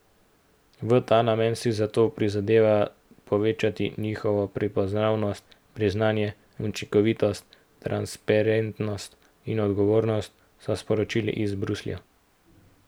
V ta namen si zato prizadeva povečati njihovo prepoznavnost, priznanje, učinkovitost, transparentnost in odgovornost, so sporočili iz Bruslja.